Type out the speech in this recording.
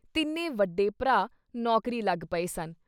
ਤਿੰਨੇ ਵੱਡੇ ਭਰਾ ਨੌਕਰੀ ਲੱਗ ਗਏ ਸਨ।